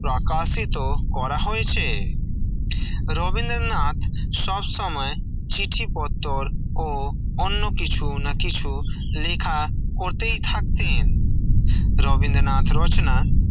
প্রকাশিত করা হয়েছে রবীন্দ্রনাথ সব সময় চিঠিপত্তর ও অন্য কিছু না কিছু লেখা করতেই থাকতেন, রবীন্দ্রনাথ রচনা